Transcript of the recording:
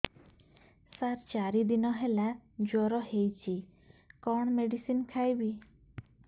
ସାର ଚାରି ଦିନ ହେଲା ଜ୍ଵର ହେଇଚି କଣ ମେଡିସିନ ଖାଇବି